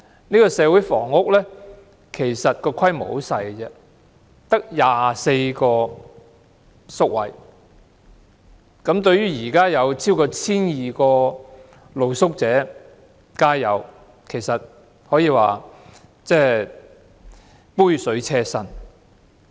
其實這個社區房屋規模很小，只得24個宿位，相對超過 1,200 名露宿者、街友，其實可說是杯水車薪。